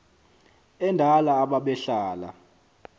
endala aba behlala